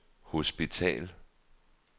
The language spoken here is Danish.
hospital